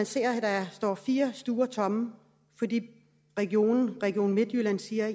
ser at der står fire stuer tomme fordi region region midtjylland siger at